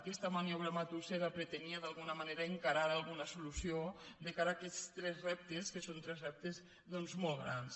aquesta maniobra matussera pretenia d’alguna manera encarar alguna solució de cara a aquests tres reptes que són tres reptes doncs molt grans